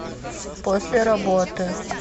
после работы